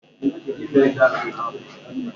Osisi akị ilu áhụ̀ ga-achụ agwọ niile dị na be ya.